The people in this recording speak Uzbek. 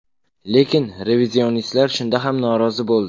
Lekin revizionistlar shunda ham norozi bo‘ldi.